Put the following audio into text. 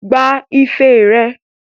Gba ife rẹ!